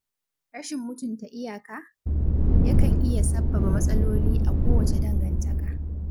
Rashin mutunta iyãkã, yakan iya sabbaba matsaloli a kowace dangantaka.